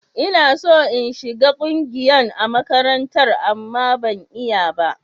Ina so in shiga ƙungiyan a makarantar, amma ban iya ba.